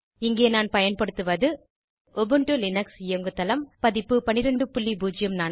இங்கே நான் பயன்படுத்துவது உபுண்டு லினக்ஸ் இயங்குதளம் பதிப்பு 1204